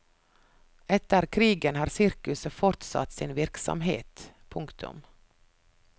Etter krigen har sirkuset fortsatt sin virksomhet. punktum